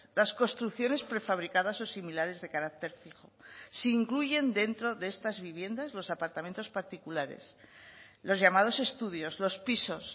las construcciones prefabricadas o similares de carácter fijo se incluyen dentro de estas viviendas los apartamentos particulares los llamados estudios los pisos